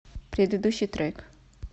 предыдущий трек